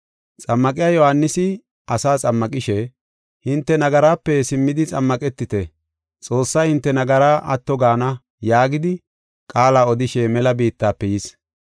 Xammaqiya Yohaanisi asaa xammaqishe, “Hinte nagaraape simmidi xammaqetite; Xoossay hinte nagaraa atto gaana” yaagidi qaala odishe mela biittafe yis.